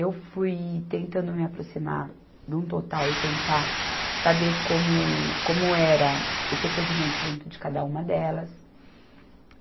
Eu fui tentando me aproximar de um total e tentar saber como, como era o procedimento dentro de cada uma delas.